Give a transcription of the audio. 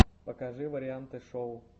покажи варианты шоу